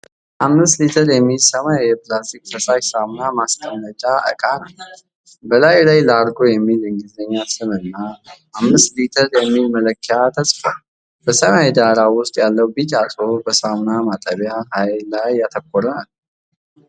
አምስት ሊትር የሚይዝ ሰማያዊ የፕላስቲክ ፈሳሽ ሳሙና ማስቀመጫ እቃ ነው። በላዩ ላይ "ላርጎ" የሚል የእንግሊዝኛ ስም እና "5 ሊትር" የሚል መለኪያ ተጽፏል። በሰማያዊ ዳራ ውስጥ ያለው ቢጫ ጽሁፍ በሳሙናው ማጠቢያ ኃይል ላይ ያተኩራል።